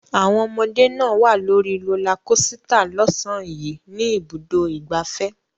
Àwọn ọmọdé náà wà lórí rólá kosità lọ́sàn-án yìí ní Ibùdó-ìgbafẹ́.